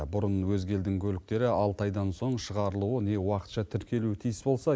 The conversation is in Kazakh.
бұрын өзге елдің көліктері алты айдан соң шығарылуы не уақытша тіркелуі тиіс болса